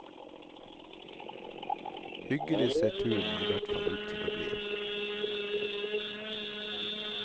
Hyggelig ser turen i hvert fall ut til å bli.